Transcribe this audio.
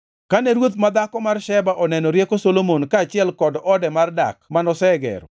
Kane ruoth madhako mar Sheba oneno rieko Solomon kaachiel kod ode mar dak manosegero,